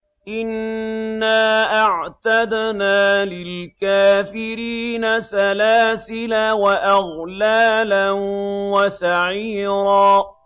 إِنَّا أَعْتَدْنَا لِلْكَافِرِينَ سَلَاسِلَ وَأَغْلَالًا وَسَعِيرًا